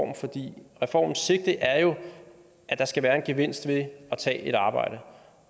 reformens sigte er jo at der skal være en gevinst ved at tage et arbejde